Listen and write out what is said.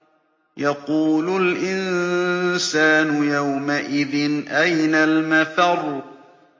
يَقُولُ الْإِنسَانُ يَوْمَئِذٍ أَيْنَ الْمَفَرُّ